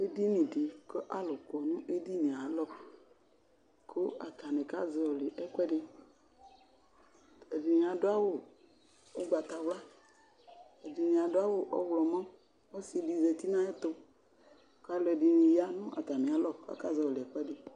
Edinidi kʋ alʋ kɔ nʋ edini yɛ ayalɔ kʋ atani kazɔli ɛkʋɛdi Ɛdini adʋ awʋ ʋgbatawla, ɛdini adʋ awʋ ɔɣlɔmɔ, ɔsidi zati n'ayɛtʋ, k'alʋ ɛdini ya nʋ atami alɔ k'akazɔli ɛkʋɛdi